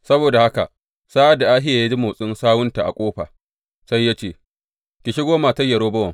Saboda haka sa’ad da Ahiya ya ji motsin sawunta a ƙofa, sai ya ce, Ki shigo, matar Yerobowam.